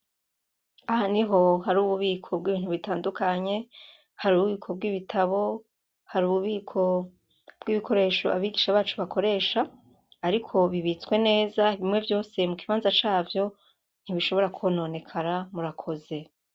Aha niho hari ububiko bw'ibintu bitandukanye, hari ububiko bw'ibitabo, hari ububiko bw'ibikoresho abigisha bacu bakoresha ariko bibitswe neza, bimwe vyose mu kibanza cavyo, ntibishobora kwononekara, murakoze.